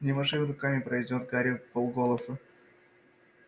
не маши руками произнёс гарри вполголоса